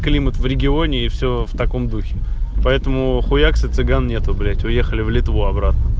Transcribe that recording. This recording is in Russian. климат в регионе и всё в таком духе поэтому хуякс и цыган нету блять уехали в литву обратно